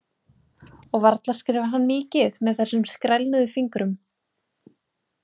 Og varla skrifar hann mikið með þessum skrælnuðu fingrum.